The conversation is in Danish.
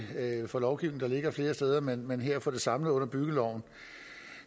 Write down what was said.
får lovgivning der ligger flere steder men men her får det samlet under byggeloven